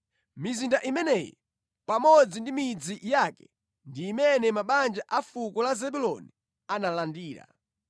Mizinda imeneyi pamodzi ndi midzi yake ndi imene mabanja a fuko la Zebuloni analandira.